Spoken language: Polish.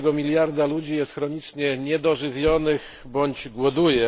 1 miliarda ludzi jest chronicznie niedożywionych bądź głoduje.